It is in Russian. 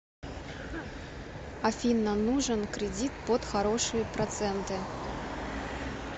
афина нужен кредит под хорошие проценты